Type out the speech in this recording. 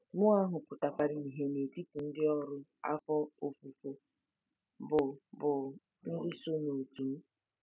Mmụọ ahụ pụtakwara ìhè n'etiti ndị ọrụ afọ ofufo bụ́ bụ́ ndị so n'òtù m.